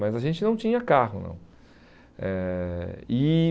Mas a gente não tinha carro, não. Eh e